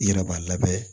I yɛrɛ b'a labɛn